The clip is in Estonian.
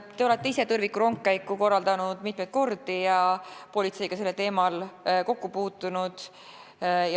Te olete ise mitmeid kordi tõrvikurongkäiku korraldanud ja politseiga sellel teemal kokku puutunud.